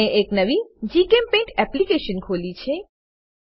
મેં એક નવી જીચેમ્પેઇન્ટ એપ્લીકેશન ખોલી છે